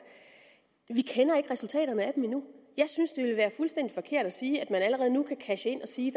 vi kender ikke resultaterne af dem endnu og jeg synes det ville være fuldstændig forkert at sige at man allerede nu kan cashe ind og sige